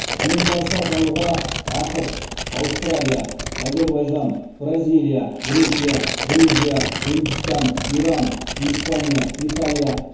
әлем барысы атануға ақш аустралия әзербайжан бразилия грекия грузия үндістан иран испания италия